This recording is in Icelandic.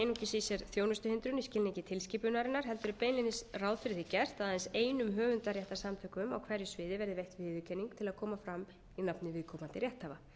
einungis í sér þjónustuhindrun í skilningi tilskipunarinnar heldur er beinlínis ráð fyrir því gert að aðeins einum höfundaréttarsamtökum á hverju sviði verði veitt viðurkenning til að koma fram í nafni viðkomandi rétthafa